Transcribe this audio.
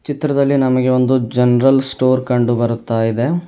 ಚಿತ್ರದಲ್ಲಿ ನಮಗೆ ಒಂದು ಜನರಲ್ ಸ್ಟೋರ್ ಕಂಡು ಬರುತ್ತಾ ಇದೆ.